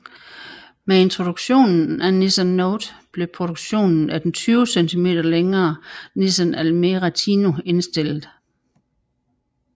Med introduktionen af Nissan Note blev produktionen af den 20 cm længere Nissan Almera Tino indstillet